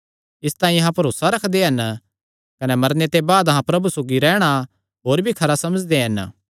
इसतांई अहां भरोसा रखदे हन कने मरने दे बाद अहां प्रभु सौगी रैहणा होर भी खरा समझदे हन